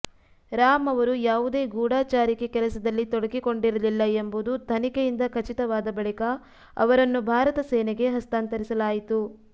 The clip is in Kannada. ರಾಮ್ ಅವರು ಯಾವುದೇ ಗೂಢಚಾರಿಕೆ ಕೆಲಸದಲ್ಲಿ ತೊಡಗಿಕೊಂಡಿರಲಿಲ್ಲ ಎಂಬುದು ತನಿಖೆಯಿಂದ ಖಚಿತವಾದ ಬಳಿಕ ಅವರನ್ನು ಭಾರತ ಸೇನೆಗೆ ಹಸ್ತಾಂತರಿಸಲಾಯಿತು